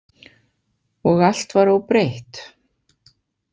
Og allt var óbreytt?